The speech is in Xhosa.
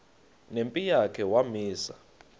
nempi yakhe wamisa